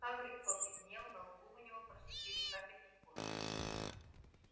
хагрид побледнел на лбу у него проступили капельки пота